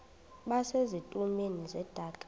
base zitulmeni zedaka